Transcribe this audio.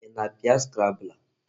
Ị na-apịa scrambler?